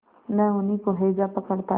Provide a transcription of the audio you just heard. न उन्हीं को हैजा पकड़ता है